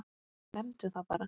Nefndu það bara!